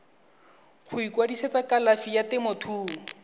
go ikwadisetsa kalafi ya temothuo